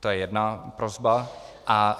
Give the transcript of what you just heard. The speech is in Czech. To je jedna prosba.